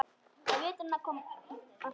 Á veturna koma færri.